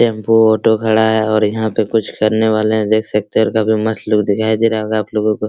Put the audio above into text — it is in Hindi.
टेंपो ऑटो खड़ा है और यहाँ पे कुछ करने वाले है देख सकते हैं और काफी मस्त लोग दिखाई दे रहा होगा आप लोगों को।